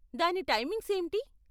దాని టైమింగ్స్ ఏంటి?